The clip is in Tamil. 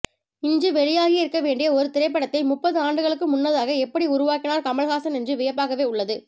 இன்று வெளியாகியிருக்க வேண்டிய ஒரு திரைப்படத்தை முப்பது ஆண்டுகளுக்கு முன்னதாக எப்படி உருவாக்கினார் கமல்ஹாசன் என்று வியப்பாகவே உள்ளது